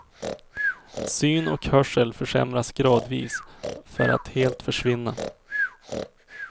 Syn och hörsel försämras gradvis, för att helt försvinna.